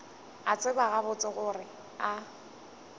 a tseba gabotse gore a